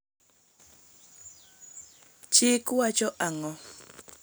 Chik wacho ang'o